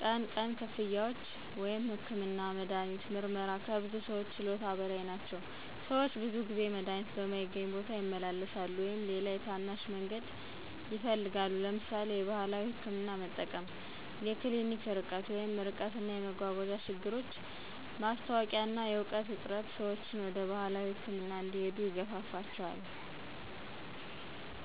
ቀን ቀን ክፍያዎች (ህክምና፣ መድሃኒት፣ ምርመራ) ከብዙ ሰዎች ችሎታ በላይ ናቸው። - ሰዎች ብዙ ጊዜ መድሃኒት በማይገኝ ቦታ ይመለሳሉ ወይም ሌላ የታናሽ መንገድ ይፈልጋሉ (ለምሳሌ የባህላዊ ሕክምና መጠቀም)። የክሊኒክ ርቀት (ርቀት እና መጓጓዣ ችግሮች ማስታወቂያ እና የእውቀት እጥረት